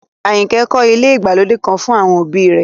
Àyìnkẹ́ kọ́ ilé ìgbàlódé kan fún àwọn òbí rẹ̀